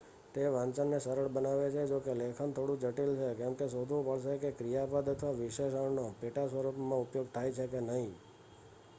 તે વાંચનને સરળ બનાવે છે જોકે લેખન થોડું જટિલ છે કેમકે એ શોધવું પડશે કે ક્રિયાપદ અથવા વિશેષણનો પેટાસ્વરૂપમાં ઉપયોગ થાય છે કે નહીં